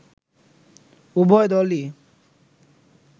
উভয় দলই